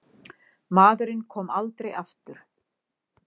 Maðurinn kom aldrei aftur.